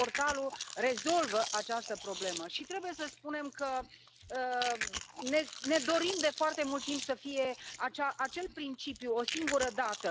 Portalul rezolvă această problemă și trebuie să spunem că ne dorim de foarte mult timp să existe acel principiu o singură dată.